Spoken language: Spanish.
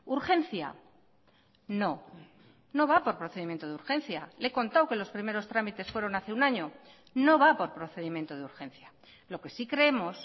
urgencia no no va por procedimiento de urgencia le he contado que los primeros trámites fueron hace un año no va por procedimiento de urgencia lo que sí creemos